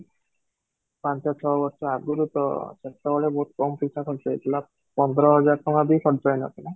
ପାଞ୍ଚ ଛଅ ବର୍ଷ ଆଗରୁ ତ ସେତେବେଳେ ବହୁତ କମ ପଇସା ଖର୍ଚ୍ଚ ହେଇଥିଲା, ପନ୍ଦର ହଜାର ଟଙ୍କା ବି ଖର୍ଚ୍ଚ ହେଇ ନଥିଲା